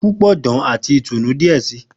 Pupọ dan ati itunu diẹ sii.